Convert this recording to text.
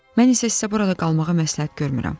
Mən isə sizə burada qalmağa məsləhət görmürəm.